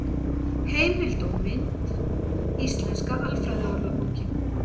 Heimild og mynd: Íslenska alfræðiorðabókin.